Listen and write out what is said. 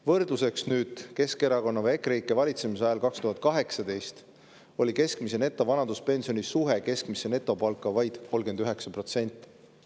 Võrdluseks: Keskerakonna või EKREIKE valitsemise ajal 2018 oli keskmise netovanaduspensioni suhe keskmisse netopalka vaid 39%.